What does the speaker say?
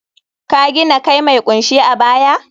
ka gina kai mai kunshe a baya?